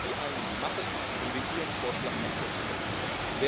Was würden Sie eigentlich machen, wenn wir Ihren Vorschlag akzeptieren würden?